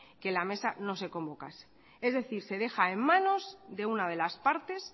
que la mesa no se convocase es decir se deja en manos de una de las partes